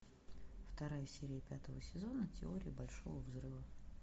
вторая серия пятого сезона теория большого взрыва